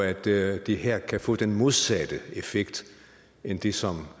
at det det her kan få den modsatte effekt end det som